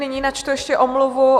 Nyní načtu ještě omluvu.